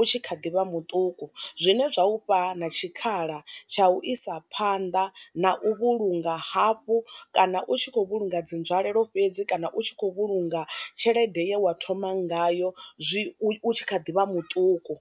u tshi kha ḓivha muṱuku zwine zwa ufha na tshikhala tsha u isa phanḓa na u vhulunga hafhu kana u tshi khou vhulunga dzi nzwalelo fhedzi kana u tshi khou vhulunga tshelede ye wa thoma ngayo zwi u tshi kha ḓi vha muṱuku.